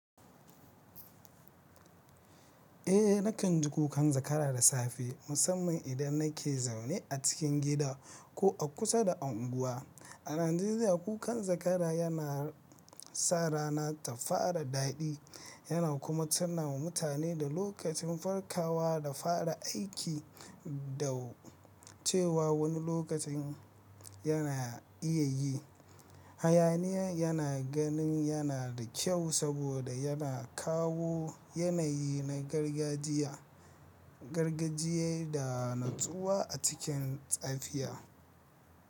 Eh nakan ji kukan zakara da safe musamman idan nake zaune a cikin gida ko a kusa da anguwa. A Najeriya kukan zakara yana sa rana ta fara daɗi yana kuma tunawa mutane da lokacin farkawa da fara aiki da cewa wani lokaci yana iyayi. Hayaniya yana ganin yana da kyau saboda yana kawo yanayi na gargajiya, gargajiya da natsuwa a cikin tsafiya.